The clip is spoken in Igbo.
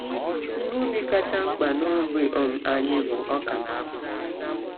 Ihe ubi kacha mkpa n’ogbe um anyị bụ ọka na akpụ.